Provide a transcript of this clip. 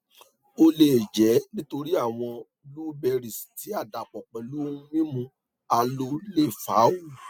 o le jẹ nitori awọn blueberries ti a dapọ pẹlu ohun mimu aloe le fa o